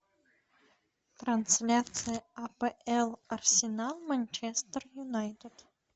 трансляция апл арсенал манчестер юнайтед